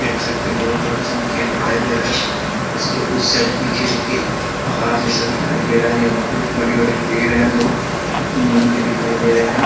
देख सकते है दोनो तरफ इसमें खेत दिखाई दे रहा है। उसके उस साइड पीछे देखिये पहाड़ जैसा दिखाई दे रहा है यहाँ पे एक बड़े-बड़े पेड़ है। दो नीम के दिखाई दे रहे है।